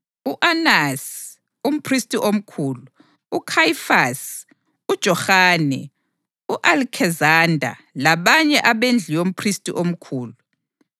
U-Anasi umphristi omkhulu, uKhayifasi, uJohane, u-Alekizanda labanye abendlu yomphristi omkhulu.